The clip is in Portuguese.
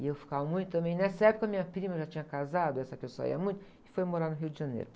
E eu ficava muito também, nessa época minha prima já tinha casado, essa pessoa ia muito, e foi morar no Rio de Janeiro.